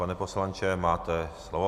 Pane poslanče, máte slovo.